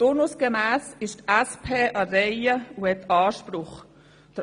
Turnusgemäss ist die SP an der Reihe und hat Anspruch auf das Präsidium.